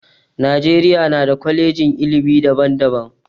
Najeriya na da kwalejin ilimi daban daban